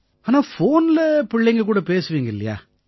ஆனா ஃபோன்ல பிள்ளைங்க கூட பேசுவீங்க இல்லையா